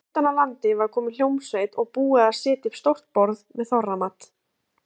Utan af landi var komin hljómsveit og búið að setja upp stórt borð með þorramat.